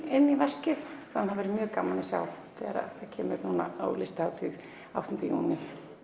inn í verkið það verður mjög gaman að sjá þegar það kemur á Listahátíð áttunda júní